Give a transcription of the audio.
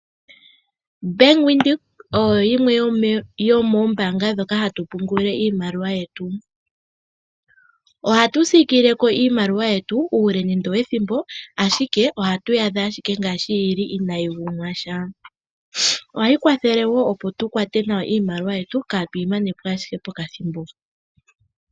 Bank Windhoek oyo yimwe yomoombanga dhoka hatu pungula iimaliwa yetu. Ohatu siikileko iimaliwa yetu uule nende owethimbo ashike ohatu yaadha ashike ngaashi yili inaayi gumwasha. Ohayi kwathele wo opo tukwate nawa iimaliwa yetu kaatu yimanepo ashike pokathimbo po.